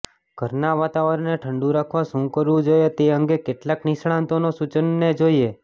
ઘરના વાતાવરણને ઠંડું રાખવા શું કરવું જોઈએ તે અંગે કેટલાંક નિષ્ણાતોના સૂચનોને જોઈએ